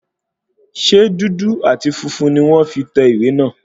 Ṣe dúdú àti funfun ní wọ́n fi tẹ ìwé náà?